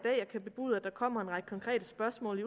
kan bebude at der kommer en række konkrete spørgsmål i